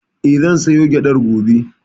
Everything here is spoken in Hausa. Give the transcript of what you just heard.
Eh, zan soya gyaɗar gobe.